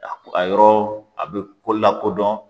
A ko a yɔrɔ a be lakodɔn